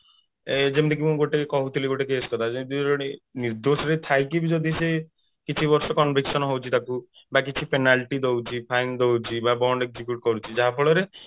ଯେମିତିକି ମୁଁ ଗୋଟେ କହୁଥିଲି ଗୋଟେ case କଥା ଯେଇନ୍ତି ଜଣେ ନିର୍ଦ୍ଦୋଷ ରେ ବି ଥାଇକି ବି ଯଦି ସେ କିଛି ବର୍ଷ conviction ହଉଛି ତାକୁ ବା କିଛି penalty ଦଉଛି fine ଦଉଛି ବା bond execute କରୁଛି ଯାହା ଫଳରେ